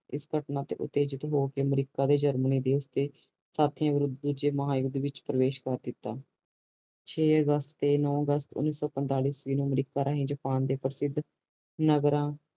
ਇਸ ਘਟਨਾ ਦੇ ਅਮਰੀਕਾ ਤੇ ਜਰਮਨੀ ਦੇਸ਼ ਦੇ ਸਤੀਆਂ ਤੇ ਵਰੁੱਧ ਦੂਜੇ ਮਹਾ ਯੂੱਧ ਵਿਚ ਪ੍ਰਵੇਸ਼ ਕਰ ਦਿਤਾ ਛੇ ਔਹੁਸਟ ਤੇ ਨੋ ਅਗਸਤ ਓਨੀ ਸੋ ਪੰਤਾਲੀ ਈਸਵੀ ਨੂੰ ਅਮਰੀਕਾ ਰਹੀ ਜਪਾਨ ਦੇ ਪ੍ਰਸਿੱਧ ਨਾਗਰਾ